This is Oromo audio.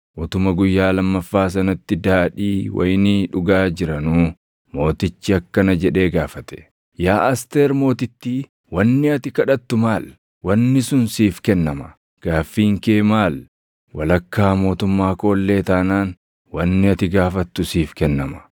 utuma guyyaa lammaffaa sanatti daadhii wayinii dhugaa jiranuu, mootichi akkana jedhee gaafate; “Yaa Asteer Mootittii wanni ati kadhattu maal? Wanni sun siif kennama. Gaaffiin kee maal? Walakkaa mootummaa koo illee taanaan wanni ati gaafattu siif kennama.”